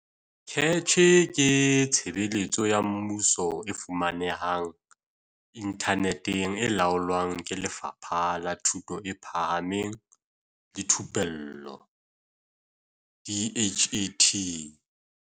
CACH ke tshebeletso ya mmuso e fumanehang inthaneteng e laolwang ke Lefapha la Thuto e Phahameng le Thupello, DHET.